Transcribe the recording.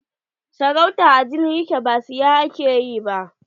Sarauta a jini yake ba siya ake yi ba.